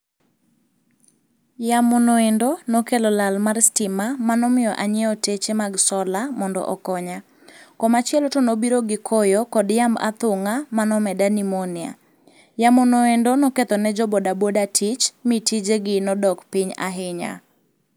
Yamono endo nokelo lal mar stima manomiyo anyiewo teche mag sola mondo okonya. Komachielo to nobiro gi koyo kod yamb athung'a manomeda Nimonia. Yamonoendo noketho ne jo bodaboda tich, mi tijegi nodok piny ahinya.